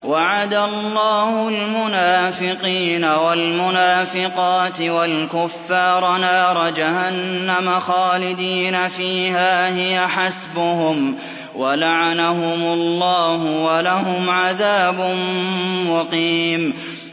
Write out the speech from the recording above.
وَعَدَ اللَّهُ الْمُنَافِقِينَ وَالْمُنَافِقَاتِ وَالْكُفَّارَ نَارَ جَهَنَّمَ خَالِدِينَ فِيهَا ۚ هِيَ حَسْبُهُمْ ۚ وَلَعَنَهُمُ اللَّهُ ۖ وَلَهُمْ عَذَابٌ مُّقِيمٌ